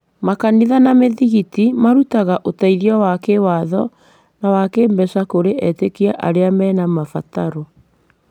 Makanitha na mĩthigiti marutaga ũteithio wa kĩĩwatho na wa kĩĩmbeca kũrĩ etĩkia arĩa mena mabataro.